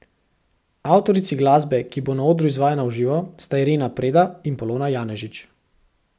Avtorici glasbe, ki bo na odru izvajana v živo, sta Irena Preda in Polona Janežič.